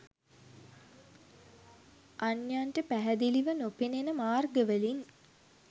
අන්‍යයන්ට පැහැදිලිව නොපෙනෙන මාර්ගවලින්